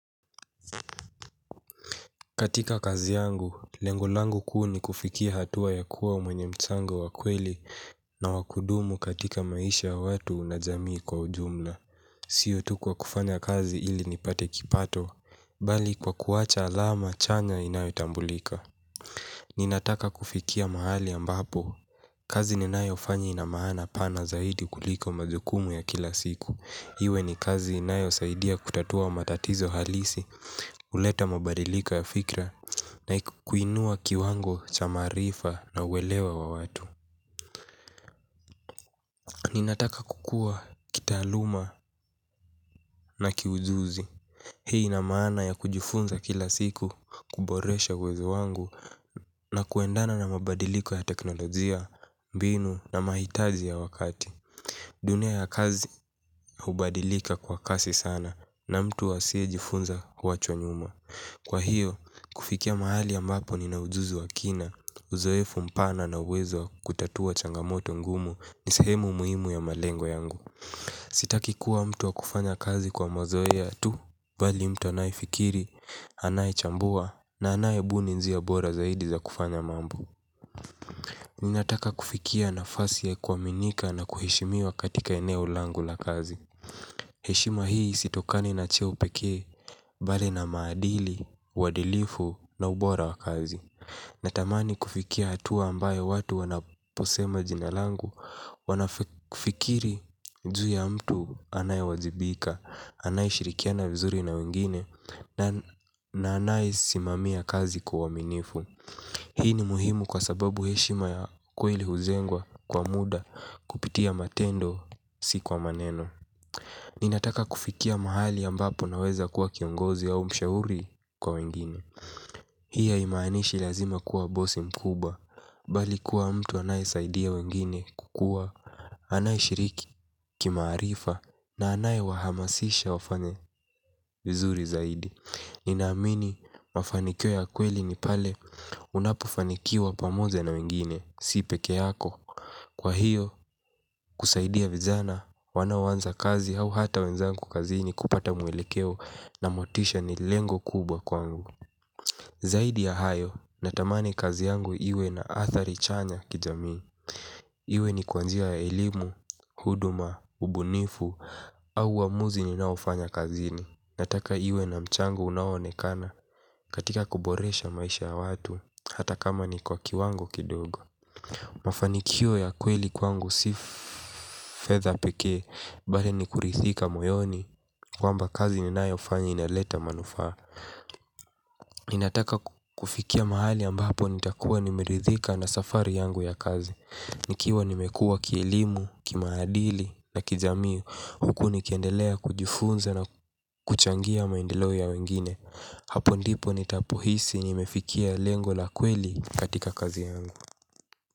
Katika kazi yangu, lengo langu kuu ni kufikia hatua ya kuwa mwenye mchango wa kweli na wa kudumu katika maisha ya watu na jamii kwa ujumla. Sio tu kwa kufanya kazi ili nipate kipato bali kwa kuacha alama chanya inayotambulika. Ninataka kufikia mahali ambapo. Kazi ninayofanya ina maana pana zaidi kuliko majukumu ya kila siku. Iwe ni kazi inayosaidia kutatua matatizo halisi, kuleta mabadiliko ya fikra na kuinua kiwango cha maarifa na uelewa wa watu. Ninataka kukua kitaaluma na kiujuzi. Hii ina maana ya kujifunza kila siku kuboresha uwezo wangu na kuendana na mabadiliko ya teknolojia, mbinu na mahitaji ya wakati. Dunia ya kazi hubadilika kwa kasi sana na mtu asiyejifunza huachwa nyuma. Kwa hiyo, kufikia mahali ambapo nina ujuzi wa kina, uzoefu mpana na uwezo wa kutatua changamoto ngumu ni sehemu muhimu ya malengo yangu. Sitaki kuwa mtu wa kufanya kazi kwa mazoea tu, bali mtu anayefikiri, anayechambua na anayebuni njia bora zaidi za kufanya mambo. Ninataka kufikia nafasi ya kuaminika na kuheshimiwa katika eneo langu la kazi. Heshima hii sitokani na cheo pekee, bali na maadili, uadilifu na ubora wa kazi. Natamani kufikia hatua ambayo watu wanaposema jina langu, wanafikiri juu ya mtu anayewajibika, anayeshirikiana vizuri na wengine, na anayesimamia kazi kwa uaminifu. Hii ni muhimu kwa sababu heshima ya kweli hujengwa kwa muda kupitia matendo si kwa maneno. Ninataka kufikia mahali ambapo naweza kuwa kiongozi au mshauri kwa wengine. Hii haimaanishi lazima kuwa bosi mkubwa. Bali kuwa mtu anayesaidia wengine kukua anayeshiriki kimaarifa na anayewahamasisha wafanye vizuri zaidi. Ninaamini mafanikio ya kweli ni pale unapofanikiwa pamoja na wengine si peke yako. Kwa hiyo, kusaidia vijana wanaoanza kazi au hata wenzangu kazini kupata mwelekeo na motisha ni lengo kubwa kwangu. Zaidi ya hayo, natamani kazi yangu iwe na athari chanya kijamii. Iwe ni kwa njia ya elimu, huduma, ubunifu au uamuzi ninaofanya kazini nataka iwe na mchango unaonekana katika kuboresha maisha ya watu, hata kama ni kwa kiwango kidogo. Mafanikio ya kweli kwangu si fedha pekee, bali ni kuridhika moyoni kwamba kazi ninayofanya inaleta manufaa. Ninataka kufikia mahali ambapo nitakuwa nimeridhika na safari yangu ya kazi. Nikiwa nimekua kielimu, kimaadili na kijamii huku nikiendelea kujifunza na kuchangia maendelo ya wengine. Hapo ndipo nitapohisi nimefikia lengo la kweli katika kazi yangu.